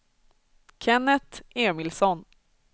Kenneth Emilsson